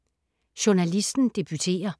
Journalisten debuterer